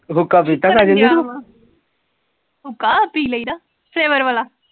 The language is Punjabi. , ਹੁੱਕਾ? ਪੀ ਲਈਦਾ flavor ਵਾਲਾ